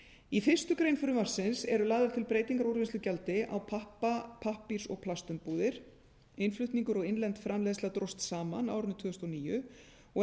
í fyrstu grein frumvarpsins eru lagðar til breytingar á úrvinnslugjaldi á pappa pappírs og plastumbúðir innflutningur og innlend framleiðsla dróst saman á árinu tvö þúsund og níu og eru